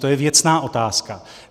To je věcná otázka.